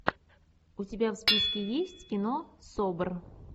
у тебя в списке есть кино собр